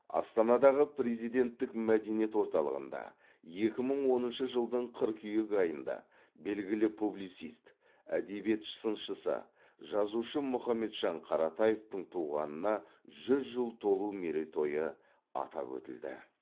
астанадағы президенттік мәдениет орталығында екі мың оныншы жылдың қыркүйек айында белгілі публицист әдебиет сыншысы жазушы мұхамеджан қаратаевтың туғанына жүз жыл толу мерейтойы атап өтілді